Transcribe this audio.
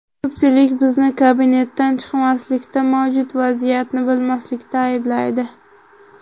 Ko‘pchilik bizni kabinetdan chiqmaslikda, mavjud vaziyatni bilmaslikda ayblaydi.